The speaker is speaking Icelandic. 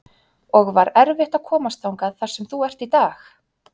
og var erfitt að komast þangað þar sem þú ert í dag?